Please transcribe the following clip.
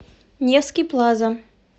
невский плаза